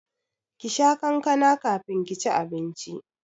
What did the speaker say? Kisha kankana kafin ki ci abinci!